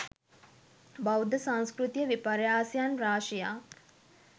බෞද්ධ සංස්කෘතික විපර්යාසයන් රාශියක්